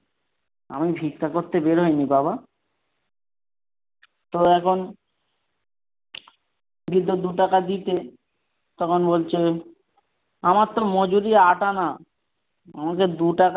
আমি ভিক্ষা করতে বের হয়নি বাবা। তো এখন বৃদ্ধ দুটাকার দিতে তখন বলছে আমারতো মজুরি আট আনা আমাকে দু টাকা।